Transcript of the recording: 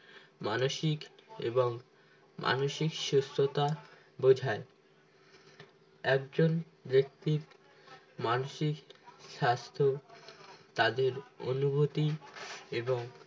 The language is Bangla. মানসিক এবং মানসিক সুস্থতা বোঝায় একজন ব্যক্তির মানসিক স্বাস্থ্য তাদের অনুভূতি এবং